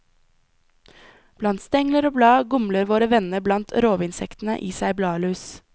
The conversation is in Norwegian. Blant stengler og blad gumler våre venner blant rovinsektene i seg bladlus.